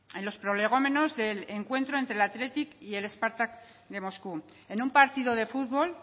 en los prolegómenos del encuentro entre el athletic y el spartak de moscu en un partido de futbol